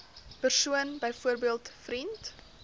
persoon byvoorbeeld vriend